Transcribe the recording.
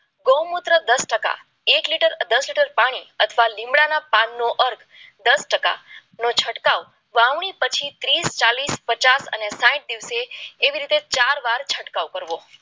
ગૌમુત્ર દસ ટકા એક લીટર દસ લીટર પાણી અથવા લીમડાના પાન નો અર્ક દસ ટકાનો છંટકાવ વાવણી પછી ત્રીસ ચાલીસ પચાસ અને સાઈઠ દિવસથી એવી રીતે ચાર વાર છંટકાવ કરવો